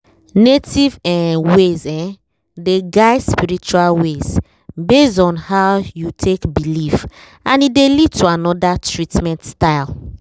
native um ways um dey guide spiritual ways based on how you take belief and e dey lead to another treatment style.